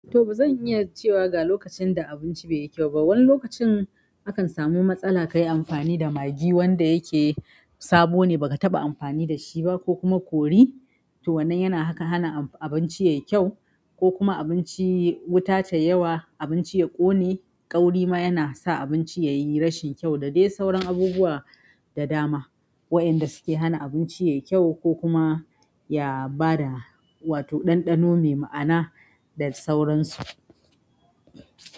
To bazan iya cewa ga lokacin da abinci bai yi kyau ba. Wani lokacin akan samu matsala ka yi amfani da Maggi wanda yake sabo ne ba ka taɓa amfani da shi ba ko kuma kori. To wannan yana haka, hana abinci ya yi kyau ko kuma abinci wuta ta yi yawa, abinci ya ƙone. Ƙauri ma yana sa abinci ya yi rashin kyau da dai sauran abubuwa da dama waɗanda suke hana abinci ya yi kyau ko kuma ya bada, wato ɗanɗano mai ma'ana da sauransu.